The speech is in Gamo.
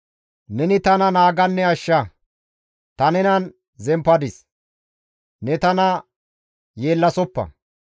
Neni tana naaganne ashsha; ta nenan zemppadis; ne tana yeellasoppa.